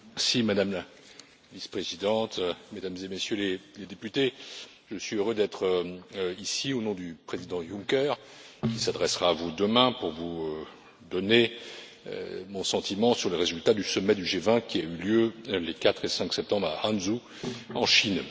Madame la Vice présidente, Mesdames et Messieurs les députés, je suis heureux d'être ici au nom du Président Juncker, qui s'adressera à vous demain, pour vous donner mon sentiment sur le résultat du sommet du G20, qui a eu lieu les 4 et 5 septembre à Hangzhou en Chine.